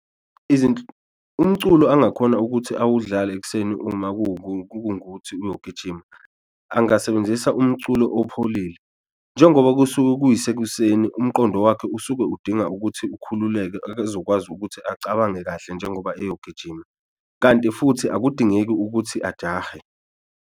Umculo angakhona ukuthi awudlale ekuseni uma kungukuthi uyogijima angasebenzisa umculo opholile njengoba kusuke kuyisekuseni umqondo wakhe usuke udinga ukuthi ukhululeke ezokwazi ukuthi acabange kahle njengoba eyogijima, kanti futhi akudingeki ukuthi ajahe.